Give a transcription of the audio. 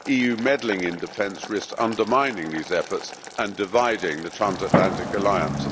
EU meddling in defence risks undermining these efforts and dividing the Transatlantic Alliance.